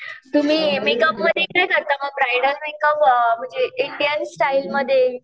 तुम्ही मेकअपमध्ये काय करता ब्रायडल मेकअप का अ म्हणजे इंडियन स्टाईलमध्ये.